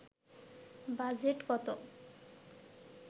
budget কত